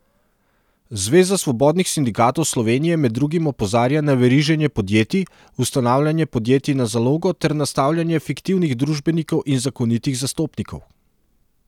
Zveza svobodnih sindikatov Slovenije med drugim opozarja na veriženje podjetij, ustanavljanje podjetij na zalogo ter nastavljanje fiktivnih družbenikov in zakonitih zastopnikov.